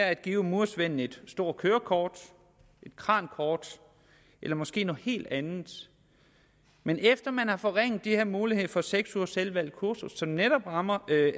at give murersvenden et stort kørekort et krankort eller måske noget helt andet men efter at man har forringet de her muligheder for seks ugers selvvalgt kursus som netop rammer